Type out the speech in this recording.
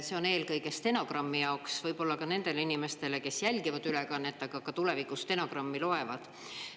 See on eelkõige stenogrammi jaoks, võib-olla ka nendele inimestele, kes jälgivad ülekannet, aga ka tulevikus stenogrammi loevad.